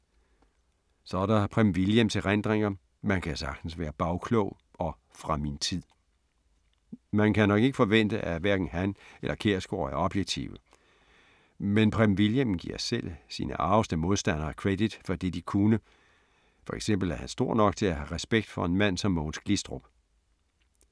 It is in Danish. Så er der Preben Wilhjelms erindringer Man kan sagtens være bagklog og Fra min tid. Man kan nok ikke forvente, at hverken han eller Kjærsgaard er objektive, men Preben Wilhjelm giver selv sine argeste modstandere credit for det de kunne, for eksempel er han stor nok til at have respekt for en mand som Mogens Glistrup.